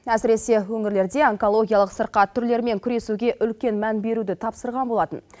әсіресе өңірлерде онкологиялық сырқат түрлерімен күресуге үлкен мән беруді тапсырған болатын